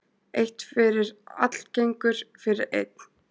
Eitt fyrir allagengur fyrir einn.